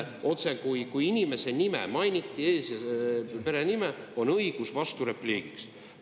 Kui inimese ees- ja perenime mainiti, siis on õigus vasturepliigiks.